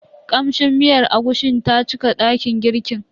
Kamshin miyar agushin ta cika dakin girkin.